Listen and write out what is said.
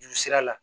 Juru sira la